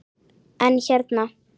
En hérna.